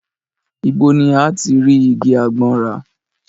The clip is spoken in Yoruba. Ibo ni a ti rí igi àgbọn rà?